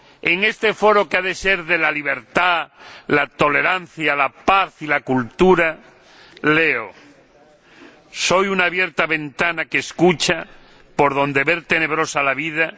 En este foro que ha de ser de la libertad, la tolerancia, la paz y la cultura, leo Soy una abierta ventana que escucha, por donde ver tenebrosa la vida.